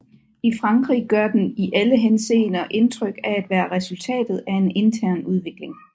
I Frankrig gør den i alle henseender indtryk af at være resultatet af en intern udvikling